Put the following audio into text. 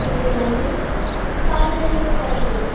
ಇಲ್ಲಿ ಒಂದು ಸಾರ್ವಜನಿಕ ಸ್ಥಳ ಇದೆ.